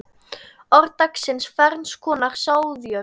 Orð dagsins Ferns konar sáðjörð